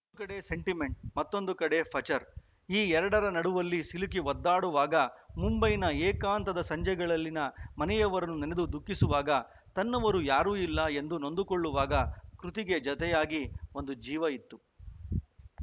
ಒಂದು ಕಡೆ ಸೆಂಟಿಮೆಂಟ್‌ ಮತ್ತೊಂದು ಕಡೆ ಫಚರ್‌ ಈ ಎರಡರ ನಡುವಲ್ಲಿ ಸಿಲುಕಿ ಒದ್ದಾಡುವಾಗ ಮುಂಬೈನ ಏಕಾಂತದ ಸಂಜೆಗಳಲ್ಲಿನ ಮನೆಯವರನ್ನು ನೆನೆದು ದುಃಖಿಸುವಾಗ ತನ್ನವರು ಯಾರೂ ಇಲ್ಲ ಎಂದು ನೊಂದುಕೊಳ್ಳುವಾಗ ಕೃತಿಗೆ ಜೊತೆಯಾಗಿ ಒಂದು ಜೀವ ಇತ್ತು